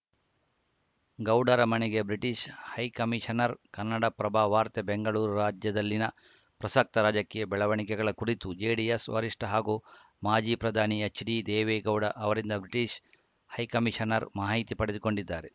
ಗೌಡರ ಮನೆಗೆ British high commissioner Kannadaprabha ವಾರ್ತೆ ಬೆಂಗಳೂರು ರಾಜ್ಯದಲ್ಲಿನ ಪ್ರಸಕ್ತ ರಾಜಕೀಯ ಬೆಳವಣಿಗೆಗಳ ಕುರಿತು ಜೆಡಿಎಸ್‌ ವರಿಷ್ಠ ಹಾಗೂ ಮಾಜಿ ಪ್ರಧಾನಿ ಎಚ್‌ಡಿ ದೇವೇಗೌಡ ಅವರಿಂದ ಬ್ರಿಟಿಷ್‌ ಹೈಕಮಿಷನರ್‌ ಮಾಹಿತಿ ಪಡೆದುಕೊಂಡಿದ್ದಾರೆ